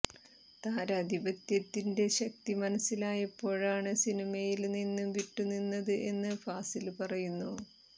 താരാധിപത്യത്തിന്റെ ശക്തി മനസ്സിലായപ്പോഴാണ് സിനിമയില് നിന്ന് വിട്ടു നിന്നത് എന്ന് ഫാസില് പറയുന്നു